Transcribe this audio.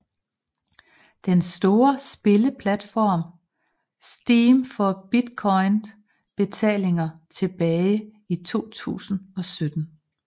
Den store spilleplatform Steam for Bitcoin betalinger tilbage i 2017